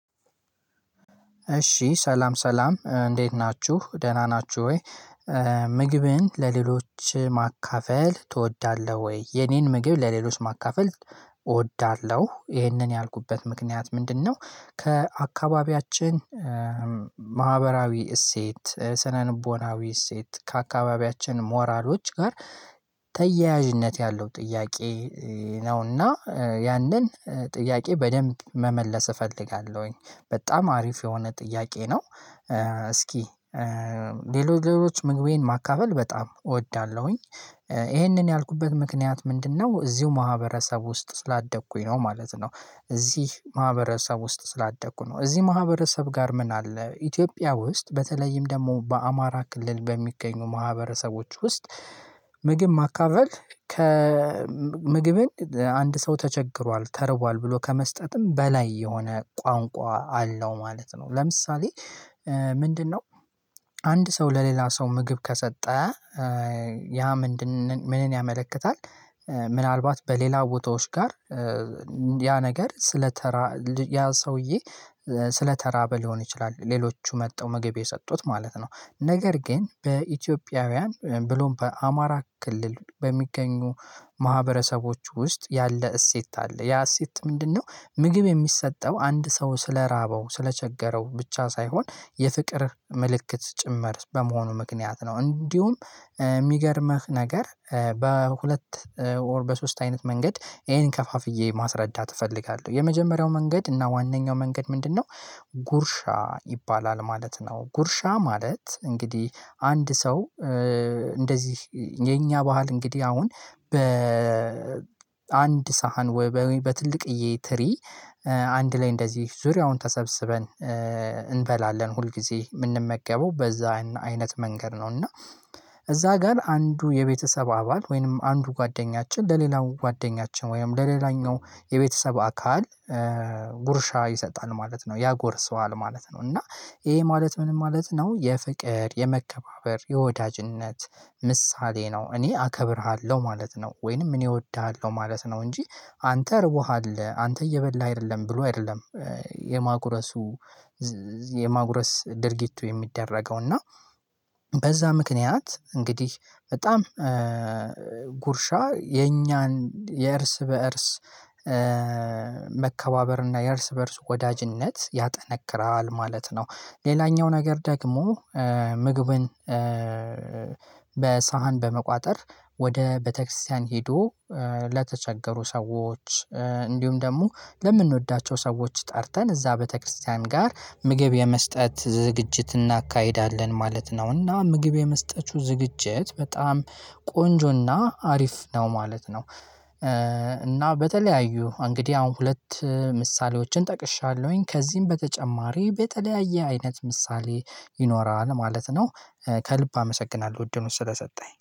እሺ ሰላም ሰላም እንዴት ናችሁ ደህና ናችሁ ወይ? ምግብን ለሌሎች ማካፈል ትወዳለሁ ወይ የኔን ምግብ ለሌሎች ማካፈል? እወዳለሁ ይሄንን ያልኩበት ምክንያት ምንድነው? ከአካባቢያችን ማህበራዊ እሴት ስነልቦናዊ እሴት ከአካባቢያችን ሞራሎች ጋር ተያያዥነት ያለው ጥያቄ ነውና ያንን ጥያቄ በደንብ መመለስ እፈልጋለሁኝ። በጣም አሪፍ የሆነ ጥያቄ ነው። እስኪ ለሌሎች ምግቤን ማካፈል በጣም እወዳለሁኝ። ይሄንን ያልኩበት ምክንያት ምንድነው? እዚሁ ማህበረሰብ ውስጥ ስላደግኩኝ ነው ማለት ነው። እዚህ ማህበረሰብ ውስጥ ስላደኩ ነው እዚህ ማህበረሰብ ጋር ምን አለ ኢትዮጵያ ውስጥ በተለይም ደግሞ በአማራ ክልል በሚገኙ ማህበረሰቦች ውስጥ። ምግብ ማካፈል ከምግብን አንድ ሰው ተቸግሯል ተርቧል ብሎ ከመስጠትም በላይ የሆነ ቋንቋ አለው ማለት ነው። ለምሳሌ ምንድነው? አንድ ሰው ለሌላ ሰው ምግብ ከሰጠ ያ ምንድን ምንን ያመለክታል? ምናልባት በሌላ ቦታዎች ጋር ያ ነገር ስለተራ ል ያ ሰውዬ ስለተራበ ሊሆን ይችላል። ሌሎቹ መጥተው ምግብ የሰጡት ማለት ነው። ነገር ግን በኢትዮጵያውያን ብሎም በአማራ ክልል በሚገኙ ማህበረሰቦች ውስጥ ያለ እሴት አለ። ያ እሴት ምንድነው? ምግብ የሚሰጠው አንድ ሰው ስለራበው ስለቸገረው ብቻ ሳይሆን የፍቅር ምልክት ጭምር በመሆኑ ምክንያት ነው። እንዲሁም የሚገርምህ ነገር በሁለት ኦር በሶስት አይነት መንገድ ይሄን ከፋፍዬ ማስረዳት እፈልጋለሁ። የመጀመሪያው መንገድ እና ዋናኛው መንገድ ምንድነው? ጉርሻ ይባላል ማለት ነው። ጉርሻ ማለት እንግዲህ አንድ ሰው እንደዚህ የኛ ባህል እንግዲህ አሁን በ ሳህን ወይ በትልቅዬ ትሪ አንድ ላይ እንደዚህ ዙሪያውን ተሰብስበን እንበላለን ሁል ጊዜ የምንመገበው በዛ አይነት መንገድ ነው። እና እዛ ጋር አንዱ የቤተሰብ አባል ወይንም አንዱ ጓደኛችን ለሌላው ጓደኛችን ወይንም ለሌላኛው የቤተሰብ አካል ጉርሻ ይሰጣል ማለት ነው ያጎርሰዋል ማለት ነው። እና ይሄ ማለት ምንም ማለት ነው የፍቅር የመከባበር የወዳጅነት ምሳሌ ነው። እኔ አከብርሃለሁ ማለት ነው። ወይንም ምን እወድሃለሁ ማለት ነው። እንጂ አንተ እርቦሀል አንተ እየበላህ አይደለም ብሎ አይደለም። የማጉረሱ የማጉረስ ድርጊቱ የሚደረገው እና በዛ ምክንያት እንግዲህ በጣም ጉርሻ የኛን የእርስ በእርስ መከባበር እና የእርስ በእርስ ወዳጅነት ያጠነክራል ማለት ነው። ሌላኛው ነገር ደግሞ ምግብን በሳህን በመቋጠር ወደ ቤተክርስቲያን ሄዶ ለተቸገሩ ሰዎች እንዲሁም ደግሞ ለምንወዳቸው ሰዎች ጠርተን እዛ ቤተክርስቲያን ጋር ምግብ የመስጠት ዝግጅት እናካሂዳለን ማለት ነው። እና ምግብ የመስጠቱ ዝግጅት በጣም ቆንጆና አሪፍ ነው ማለት ነው። እና በተለያዩ እንግዲህ አሁን ሁለት ምሳሌዎችን ጠቅሻለሁኝ ከዚህም በተጨማሪ በተለያየ አይነት ምሳሌ ይኖራል ማለት ነው። ከልብ አመሰግናለሁ እድሉን ስለሰጠኸኝ